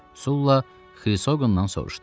Sula Xrisqondan soruşdu.